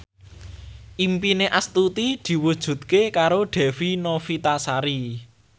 impine Astuti diwujudke karo Dewi Novitasari